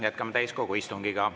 Jätkame täiskogu istungit.